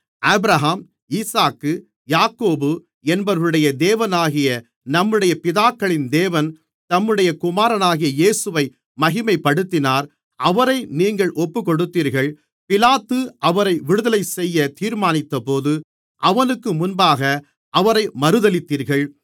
Abraham ஈசாக்கு யாக்கோபு என்பவர்களுடைய தேவனாகிய நம்முடைய பிதாக்களின் தேவன் தம்முடைய குமாரனாகிய இயேசுவை மகிமைப்படுத்தினார் அவரை நீங்கள் ஒப்புக்கொடுத்தீர்கள் பிலாத்து அவரை விடுதலை செய்ய தீர்மானித்தபோது அவனுக்கு முன்பாக அவரை மறுதலித்தீர்கள்